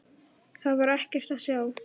Þar var ekkert að sjá.